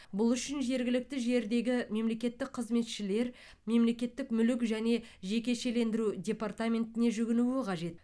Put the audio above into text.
бұл үшін жергілікті жердегі мемлекеттік қызметшілер мемлекеттік мүлік және жекешелендіру департаментіне жүгінуі қажет